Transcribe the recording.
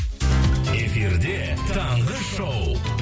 эфирде таңғы шоу